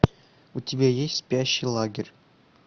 у тебя есть спящий лагерь